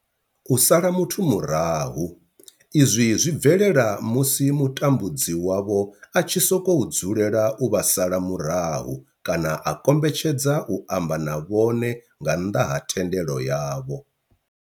U sala muthu murahu, izwi zwi bvelela musi mutambudzi wavho a tshi sokou dzulela u vha sala murahu kana a kombetshedza u amba na vhone nga nnḓa ha thendelo yavho.